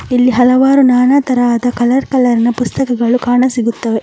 ಇಲ್ಲಿ ಹಲವಾರು ನಾನಾ ತರದ ಕಲರ್ ಕಲರ್ ಪುಸ್ತಕಗಳು ಕಾಣಸಿಗುತ್ತವೆ.